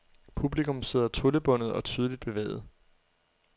Publikum sidder tryllebundet og tydeligt bevæget.